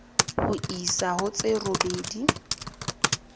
ho isa ho tse robedi